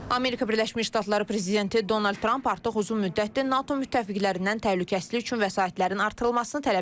Amerika Birləşmiş Ştatları prezidenti Donald Tramp artıq uzun müddətdir NATO müttəfiqlərindən təhlükəsizlik üçün vəsaitlərin artırılmasını tələb edir.